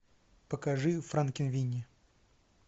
покажи франкенвини